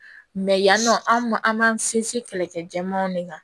yan nɔ an ma an b'an sinsin kɛlɛkɛ jɛmanw de kan